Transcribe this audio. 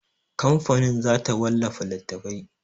Kamfanin za ta wallafa littatafai.